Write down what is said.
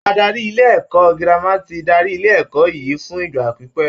Adarí ilé-ẹ̀kọ́ girama ti ń darí ilé ẹ̀kọ́ yìí fún ìgbà pípẹ́.